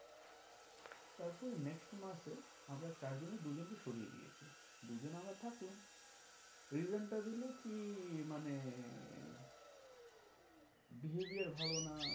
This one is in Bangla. তারপরে next মাসে আমরা চার জনের দু জনকে সরিয়ে দিয়েছে। দু জন আমরা থাকলাম reason টা দিলো কি মানে behaviour ভালো না